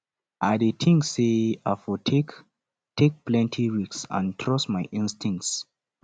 i dey think say i for take take plenty risks and trust my instincts